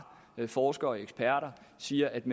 forskere og eksperter siger at